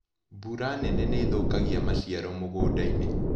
Mbura nene nĩithũkagia maciaro mũgundainĩ.